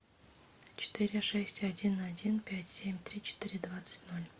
четыре шесть один один пять семь три четыре двадцать ноль